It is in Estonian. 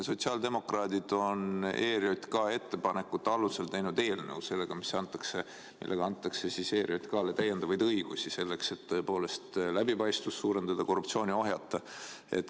Sotsiaaldemokraadid on ERJK ettepanekute alusel teinud eelnõu, millega antakse ERJK‑le täiendavaid õigusi, et tõepoolest läbipaistvust suurendada ja korruptsiooni ohjata.